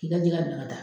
K'i ka jɛgɛ bila ka taa